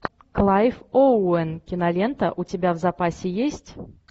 клайв оуэн кинолента у тебя в запасе есть